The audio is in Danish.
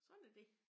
Sådan er det